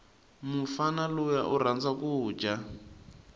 mufana luya urhandza kuja